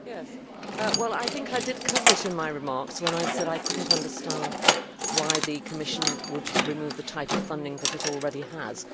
Mr President, I think I did cover it in my remarks when I said I could not understand why the Commission would remove the type of funding that it already has.